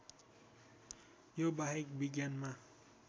यो बाहेक विज्ञानमा